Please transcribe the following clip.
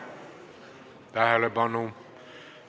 Tähelepanu!